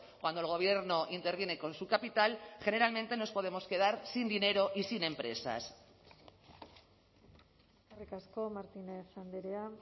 cuando el gobierno interviene con su capital generalmente nos podemos quedar sin dinero y sin empresas eskerrik asko martínez andrea